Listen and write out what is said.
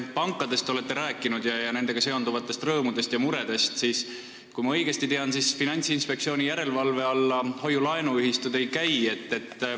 Te olete rääkinud pankadest ja nendega seonduvatest rõõmudest ja muredest, aga kui ma õigesti tean, siis hoiu-laenuühistud Finantsinspektsiooni järelevalve alla ei käi.